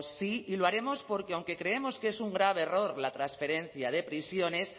sí y lo haremos porque aunque creemos que es un grave error la transferencia de prisiones